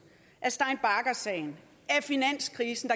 af stein bagger sagen af finanskrisen